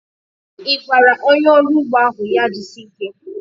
I gwara onye ọrụ ugbo ahu ya jisie ike?